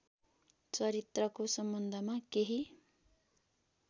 चरित्रको सम्बन्धमा केही